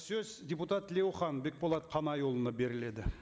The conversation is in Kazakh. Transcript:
сөз депутат тлеухан бекболат қанайұлына беріледі